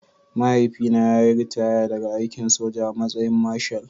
Mahaifina ya yi ritaya daga aikin soja a matsayin Marshal